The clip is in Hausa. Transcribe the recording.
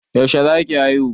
Yaushe za ki haihu?